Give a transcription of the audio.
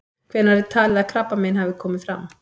Hvenær er talið að krabbamein hafi komið fram?